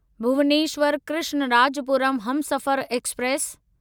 Bhubaneswar Krishnarajapuram Humsafar express